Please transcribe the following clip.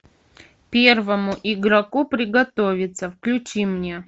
первому игроку приготовиться включи мне